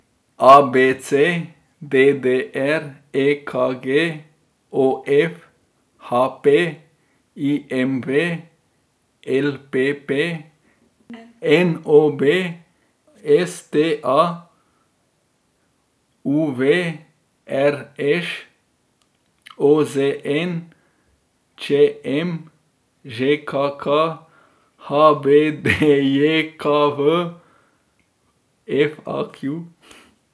A B C; D D R; E K G; O F; H P; I M V; L P P; N O B; S T A; U V; R Š; O Z N; Č M; Ž K K; H B D J K V; F A Q.